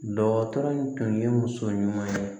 Dɔgɔtɔrɔ in tun ye muso ɲuman ye